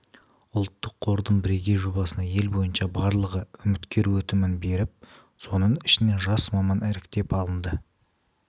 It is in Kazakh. ұлттық қордың бірегей жобасына ел бойынша барлығы үміткер өтінім беріп соның ішінен жас маман іріктеп алынды